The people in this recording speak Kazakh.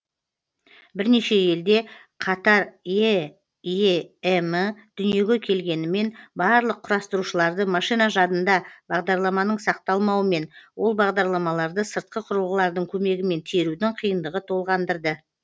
бірнеше елде қатар эем ы дүниеге келгенімен барлық құрастырушыларды машина жадында бағдарламаның сақталмауымен ол бағдарламаларды сыртқы құрылғылардың көмегімен терудің қиындығы толғандырды